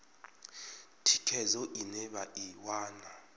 thikhedzo ine vha i wana